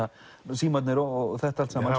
símarnir og þetta allt saman